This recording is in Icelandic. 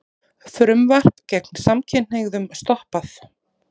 Frumvarp gegn samkynhneigðum stoppað